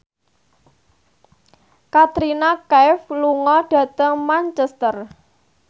Katrina Kaif lunga dhateng Manchester